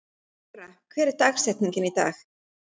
Ora, hver er dagsetningin í dag?